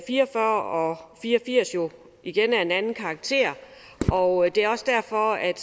fire og fyrre og fire og firs jo igen af en anden karakter og det er også derfor at